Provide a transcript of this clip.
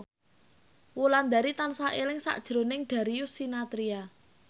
Wulandari tansah eling sakjroning Darius Sinathrya